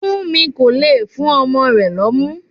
Funmi kò le fún ọmọ rẹ̀ lómu.